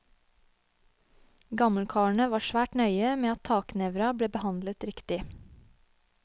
Gammelkarene var svært nøye med at taknevra ble behandlet riktig.